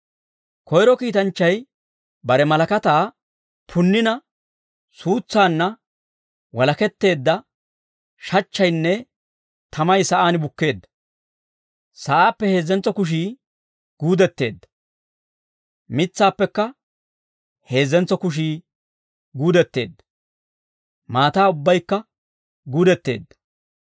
Koyro kiitanchchay bare malakataa punnina suutsaanna walaketteedda shachchaynne tamay sa'aan bukkeedda. Sa'aappe heezzentso kushii guudetteedda; mitsaappekka heezzentso kushii guudetteedda; maataa ubbaykka guudetteedda.